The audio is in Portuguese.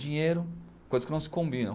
Dinheiro, coisas que não se combinam.